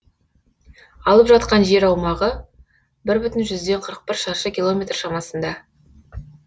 алып жатқан жер аумағы бір бүтін жүзден қырық бір шаршы километр шамасында